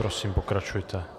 Prosím, pokračujte.